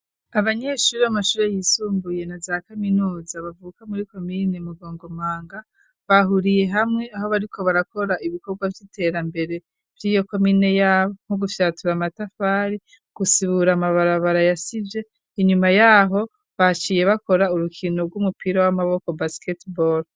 Abanyeshuri b'amashure yisumbuye na za kaminuza bavuka muri komine Mugongomanga .Bahuriye hamwe aho bariko barakora ibikorwa vy'iterambere vyiyo komine yaho nko gufyatura amatafari gusibura amabarabara yasivye .Inyuma yaho baciye bakora urukino rw'umupira w'amaboko basket ball.